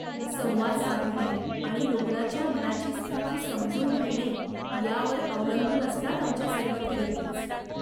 संवाद साधणे आणि रुग्णाच्या मनाची स्थिती समजून घेणे यावर अवलंबून असतात आमच्या सर्व थेरपीज .